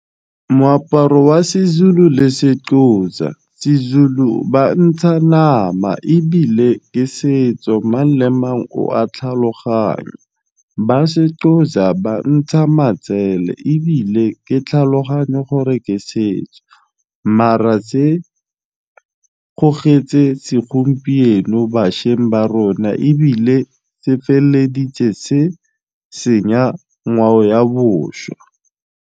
Moaparo wa seZulu le seXhosa, sezulu ba ntsha nama ebile ke setso mang le mang o a tlhaloganya ba seXhosa ba ntsha matsele ebile ke tlhaloganyo gore ke setso mara tse gogetse segompieno bašweng ba rona ebile se feleditse se senya ngwao ya bošwa.